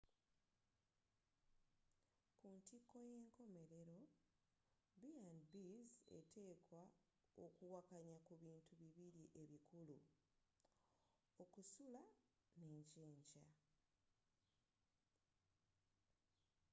kuntiko y’enkomerero b&bs eteekwa okuwakanya kubintu bibiri ebikulu: okusula n’ekyenkya